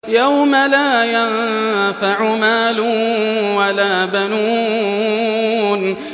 يَوْمَ لَا يَنفَعُ مَالٌ وَلَا بَنُونَ